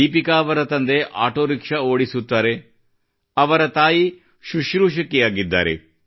ದೀಪಿಕಾ ಅವರ ತಂದೆ auto rickshaw ಓಡಿಸುತ್ತಾರೆ ಅವರ ತಾಯಿ ಸುಶ್ರೂಷಕಿಯಾಗಿದ್ದಾರೆ